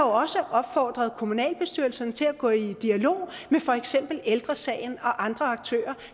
også opfordret kommunalbestyrelsen til at gå i dialog med for eksempel ældre sagen og andre aktører